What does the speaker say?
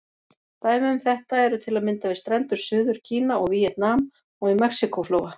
Dæmi um þetta eru til að mynda við strendur Suður-Kína og Víetnam, og í Mexíkó-flóa.